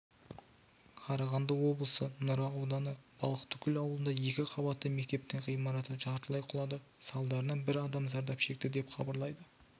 қарағанды облысы нұра ауданы балықтыкөл ауылында екі қабатты мектептің ғимараты жартылай құлады салдарынан бір адам зардап шекті деп хабарлайды